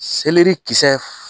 Seleri kisɛ